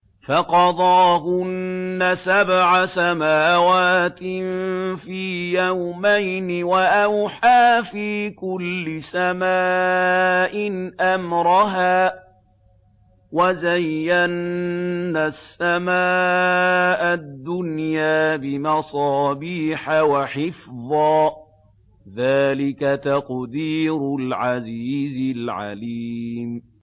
فَقَضَاهُنَّ سَبْعَ سَمَاوَاتٍ فِي يَوْمَيْنِ وَأَوْحَىٰ فِي كُلِّ سَمَاءٍ أَمْرَهَا ۚ وَزَيَّنَّا السَّمَاءَ الدُّنْيَا بِمَصَابِيحَ وَحِفْظًا ۚ ذَٰلِكَ تَقْدِيرُ الْعَزِيزِ الْعَلِيمِ